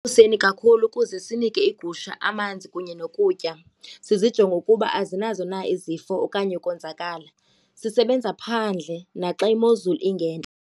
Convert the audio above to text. kakhulu ukuze sinike iigusha amanzi kunye nokutya, sizijonge ukuba azinazo na izifo okanye ukonzakala. Sisebenza phandle naxa imozulu ingentle.